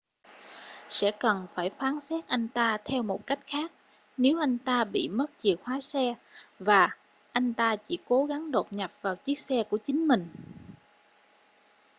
sẽ cần phải phán xét anh ta theo cách khác nếu anh ta bị mất chìa khóa xe và anh ta chỉ cố gắng đột nhập vào chiếc xe của chính mình